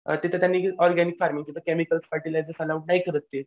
अ तिथं त्यांनी organic farm तिथं केमिकल फर्टिलायझर्स अलाऊ नाही करत ते.